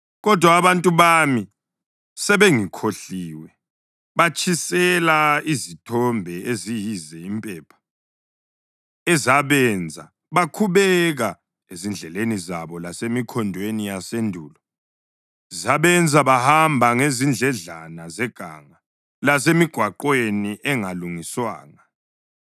Kodwa abantu bami sebengikhohliwe; batshisela izithombe eziyize impepha, ezabenza bakhubeka ezindleleni zabo lasemikhondweni yasendulo. Zabenza bahamba ngezindledlana zeganga lasemigwaqweni engalungiswanga.